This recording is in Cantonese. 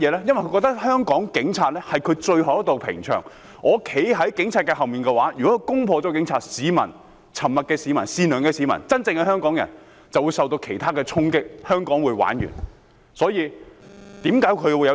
因為他們認為香港警察是他們最後一道屏障，我站在警察後面，如果他們攻破了警察，沉默的市民、善良的市民、真正的香港人便會受到其他衝擊，香港便會完蛋。